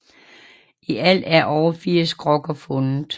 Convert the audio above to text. I alt er over 80 krukker fundet